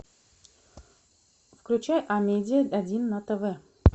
включай амедиа один на тв